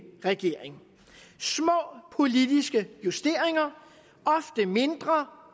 regering små politiske justeringer ofte mindre